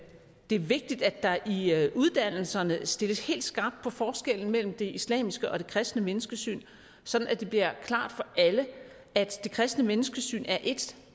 er vigtigt at der i i uddannelserne stilles helt skarpt på forskellen mellem det islamiske og det kristne menneskesyn sådan at det bliver klart for alle at det kristne menneskesyn er et